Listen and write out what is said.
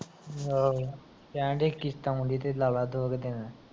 ਆਹੋ, ਕਹਿਨ ਡਏ ਕਿਸਤ ਆਉਨ ਡਈ ਤੇ ਲਾਲਾ ਦੋ ਕਿ ਦਿਨ